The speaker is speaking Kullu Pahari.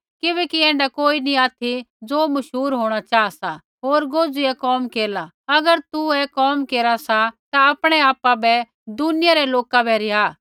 किबैकि ऐण्ढा कोई नी ऑथि ज़े मशहूर होंणा चाहा सा होर गोजुईया कोम केरला अगर तू ऐ कोम केरा सा ता आपणै आपा बै दुनिया रै लोका बै रिहा